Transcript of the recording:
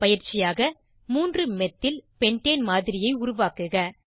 பயிற்சியாக 3 methyl pentane மாதிரியை உருவாக்குக